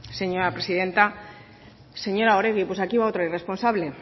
señora presidenta señora oregi pues aquí va otra irresponsable